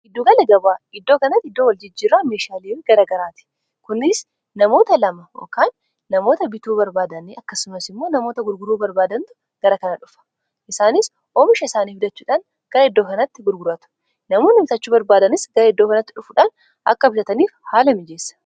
Gidduu gala gabaa iddoo kanatti iddoo waljijjiirraa meeshaalee garaa garaati kunis namoota 2 kaan namoota bituu barbaadani akkasumas immoo namoota gurguruu barbaadantu gara kana dhufa isaanis oomisha isaanii fuddachuudhaan gara iddoo kanatti gurguraatu namoo nimitachuu barbaadanis gara iddoo kanatti dhufuudhaan akka bitataniif haala mijeessa